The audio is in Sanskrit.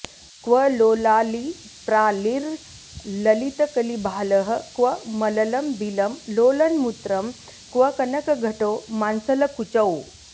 क्व लोलालिप्रालिर्ललितकलिभालः क्व मललं बिलं लोलन्मूत्रं क्व कनकघटौ मांसलकुचौ